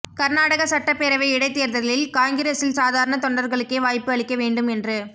கர்நாடக சட்டப் பேரவை இடைத்தேர்தலில் காங்கிரஸில் சாதாரண தொண்டர்களுக்கே வாய்ப்பு அளிக்க வேண்டும் என்று